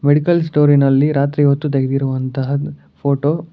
Medical ಸ್ಟೋರಿನಲ್ಲಿ ರಾತ್ರಿ ಹೊತ್ತು ತೆಗೆದಿರುವಂತಹ ಫೋಟೋ .